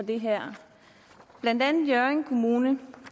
det her blandt andet hjørring kommune